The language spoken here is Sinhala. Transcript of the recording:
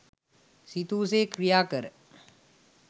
සිතූ සේ ක්‍රියා කර